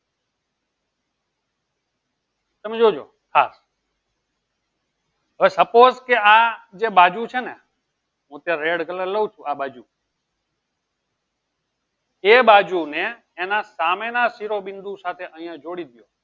તમે જોજો આ હવે suppose કે આ જે બાજુ છે ને હું તો redcolour લઉં છું એ બાજુ ને એના સામે ના સિરો બિંદુ સાથે આયીયા જોડી દો